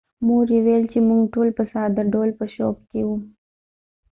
مور یې وویل چې موږ ټول په ساده ډول په شوک کې وو.